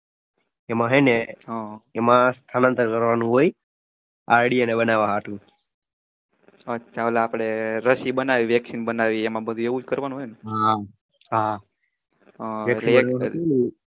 એમાં હેને એમાં સ્થળાંતર કરવાનું હોય id અને બનાવા હાટું